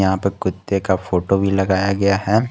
यहां प कुत्ते का फोटो भी लगाया गया है।